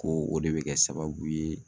Ko o de bɛ kɛ sababu ye